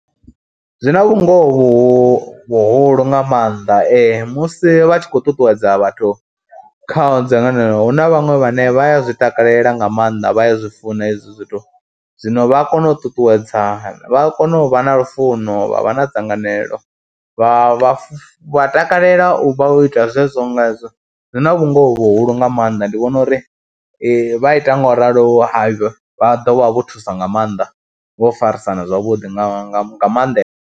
Zwi na vhungoho vhuhulu nga maanḓa musi vha tshi khou ṱuṱuwedza vhathu kha dzangano, hu na vhaṅwe vhane vha a zwi takalela nga maanḓa vha ya zwi funa hezwo zwithu, zwino vha a kona u ṱuṱuwedzana, vha a kona u vha na lufuno, vha vha na dzanganelo, vha vha vha takalela u ita zwezwo nga ezwo zwi na vhungoho vhuhulu nga maanḓa, ndi vhona uri vha ita ngauralo vha ḓo vha vho thusa nga maanḓa vho farisana zwavhuḓi nga maanḓesa.